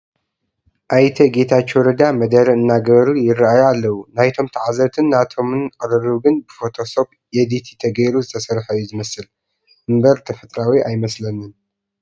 ኣይተ ጌታቸው ረዳ መደረ እናገበሩ ይርአዩ ኣለዉ፡፡ ናይቶም ተዓዘብትን ናቶምን ቅርርብ ግን ብፎቶ ሶፕ ኤዲት ተገይሩ ዝተሰርሐ እዩ ዝመስል እምበር ተፈጥሯዊ ኣይመስልን፡፡